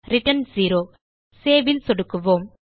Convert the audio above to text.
return 0 Saveல் சொடுக்குவோம்